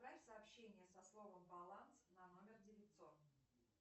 отправь сообщение со словом баланс на номер девятьсот